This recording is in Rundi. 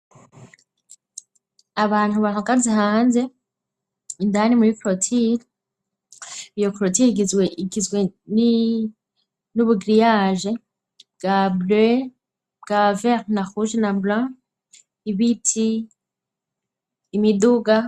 Abantu bantogazi hanze indani muri krotili iyo krotiye igizwe igizwe n'ubugiriyaje bwa brey bwa vertna huje nabulane ibiti imiduga.